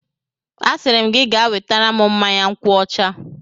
Asịrị m gị gaa wetara m mmanya nkwuọcha!